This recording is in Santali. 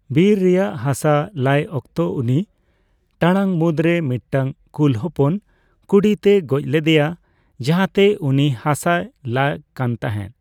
ᱵᱤᱨ ᱨᱮᱭᱟᱜ ᱦᱟᱥᱟ ᱞᱟᱭ ᱚᱠᱛᱚ, ᱩᱱᱤ ᱴᱟᱲᱟᱝᱢᱩᱫᱽᱨᱮ ᱢᱤᱫᱴᱟᱝ ᱠᱩᱞ ᱦᱚᱯᱚᱱ ᱠᱩᱰᱤ ᱛᱮᱭ ᱜᱚᱡ ᱞᱮᱫᱮᱭᱟ ᱡᱟᱦᱟᱸᱛᱮ ᱩᱱᱤ ᱦᱟᱥᱟᱭ ᱞᱟ ᱠᱟᱱᱛᱟᱦᱮᱸ ᱾